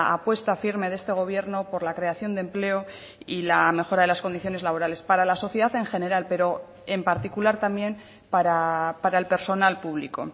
apuesta firme de este gobierno por la creación de empleo y la mejora de las condiciones laborales para la sociedad en general pero en particular también para el personal público